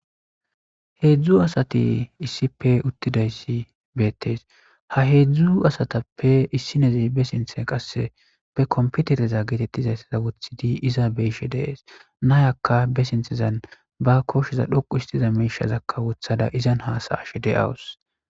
heezu asati issipe uttidayssi beettees ha heedzdzu asatappe issineze be sinthe qasse be komputereza geetettizaysseza wothidi iza beishe deees nayakka be sinthezan ba koshshiza dhoqu istiza meishazakka wothada izan haasayashe de'awus